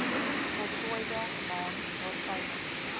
voltooide maand waartydens